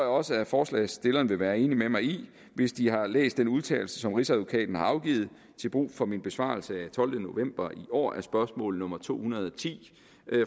også at forslagsstillerne vil være enige med mig i hvis de har læst den udtalelse som rigsadvokaten har afgivet til brug for min besvarelse af tolvte november i år af spørgsmål nummer to hundrede og ti